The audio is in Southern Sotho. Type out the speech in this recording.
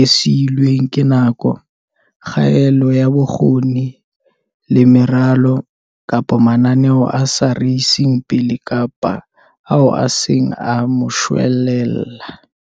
e siilweng ke nako, kgaello ya bokgoni le meralo, kapa mananeo a sa re iseng pele kapa ao e seng a moshwelella.